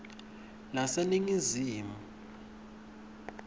leseningizimu